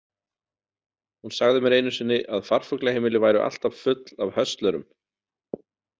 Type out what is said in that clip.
Hún sagði mér einu sinni að farfuglaheimili væru alltaf full af höstlerum.